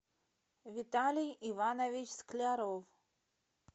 виталий иванович скляров